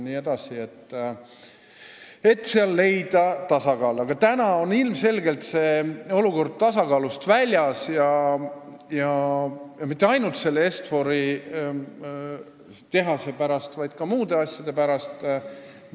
Praegu on olukord ilmselgelt tasakaalust väljas, ja mitte ainult selle Est-Fori tehase pärast, vaid ka muude asjade pärast.